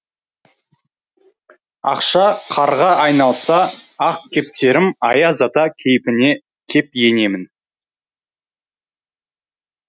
ақша қарға айналса ақ кептерім аяз ата кейпіне кеп енемін